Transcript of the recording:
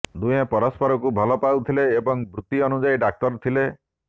ଦୁହେଁ ପରସ୍ପରକୁ ଭଲ ପାଉଥିଲେ ଏବଂ ବୃତ୍ତି ଅନୁଯାୟୀ ଡାକ୍ତର ଥିଲେ